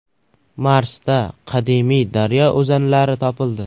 Marsda qadimiy daryo o‘zanlari topildi.